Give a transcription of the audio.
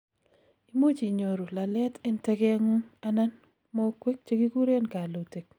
imuch inyoru lalet en tegetngung anan mogwek chekikuren kallutik